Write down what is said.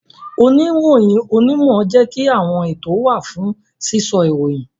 Oniroyin onimo jẹ́ kí àwọn ètò wa fún sísọ ìròyìn